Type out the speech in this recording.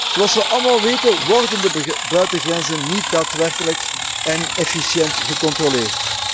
Zoals we allemaal weten worden de buitengrenzen niet daadwerkelijk en efficiënt gecontroleerd.